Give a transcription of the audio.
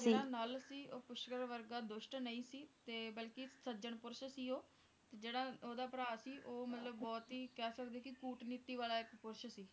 ਜਿਹੜਾ ਨਾਲ ਸੀ ਉਹ ਪੁਸ਼ਕਰ ਵਰਗਾ ਦੁਸ਼ਟ ਨਹੀਂ ਸੀ ਬਲਕਿ ਸੱਜਣ ਪੁਰਸ਼ ਸੀ ਓਹੋ ਜਿਹੜਾ ਓਹਦਾ ਭਰਾ ਸੀ ਉਹ ਮਤਲਬ ਬਹੁਤ ਹੀ ਕਹਿ ਸਕਦੇ ਹੋ ਕਿ ਕੂਟ ਨੀਤੀ ਵਾਲਾ ਇੱਕ ਪੁਰਸ਼ ਸੀ